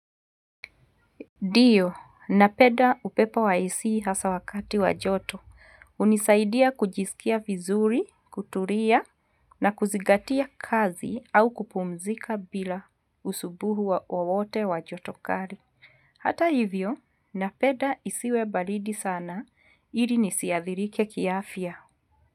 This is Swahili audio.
Ndiyo, napeda upepo wa AC hasa wakati wajoto. Unisaidia kujisikia vizuri, kuturia, na kuzigatia kazi au kupumzika bila usubuhu wa wowote wajotokari. Hata hivyo, napeda isiwe balidi sana, ili nisiadhirike kiafya.